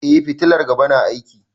Eh fitilar gaba na aiki.